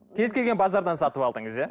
кез келген базардан сатып алдыңыз иә